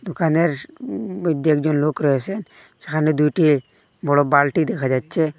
দোকানের উ মইধ্যে একজন লোক রয়েসে যেখানে দুইটি বড়ো বালটি দেখা যাচ্ছে।